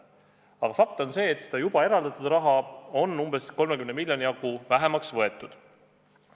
Aga fakt on see, et varem eraldatud raha on umbes 30 miljoni jagu vähemaks võetud.